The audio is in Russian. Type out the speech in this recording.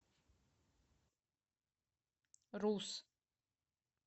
рус